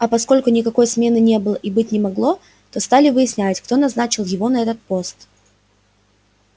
а поскольку никакой смены не было и быть не могло то стали выяснять кто назначил его на этот пост